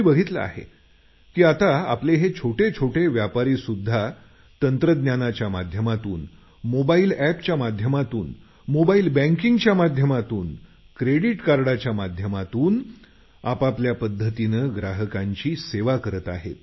मी बघितलं आहे की आपले छोटे छोटे व्यापारी सुद्धा तंत्रज्ञानाच्या माध्यमातून मोबाईल एपच्या माध्यमातून मोबाईल बँकिंगच्या माध्यमातून क्रेडिट कार्डसच्या माध्यमातून आपआपल्या पध्दतीने ग्राहकांची सेवा करत आहेत